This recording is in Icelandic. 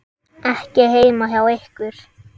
Ekki heima hjá ykkur.